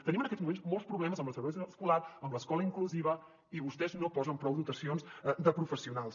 tenim en aquests moments molts problemes amb la segregació escolar amb l’escola inclusiva i vostès no hi posen prou dotacions de professionals